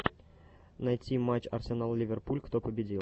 найти матч арсенал ливерпуль кто победил